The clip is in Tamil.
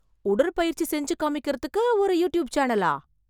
உடற்பயிற்சி செஞ்சு காமிக்கிறதுக்கு ஒரு யூட்யூப் சேனலா?